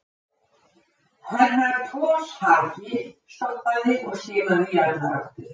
Herra Toshazi stoppaði og skimaði í allar áttir.